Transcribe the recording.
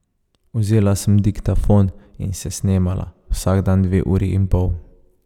Vzela sem diktafon in se snemala, vsak dan dve uri in pol.